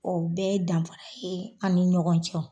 O bɛɛ ye danfara ye an ni ɲɔgɔn cɛ.